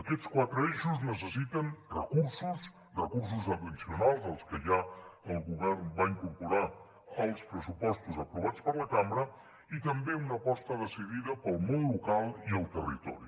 aquests quatre eixos necessiten recursos recursos addicionals als que ja el govern va incorporar als pressupostos aprovats per la cambra i també una aposta decidida pel món local i el territori